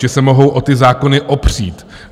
Že se mohou o ty zákony opřít.